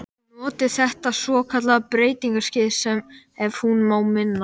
Noti þetta svokallaða breytingaskeið- sem, ef hún má minna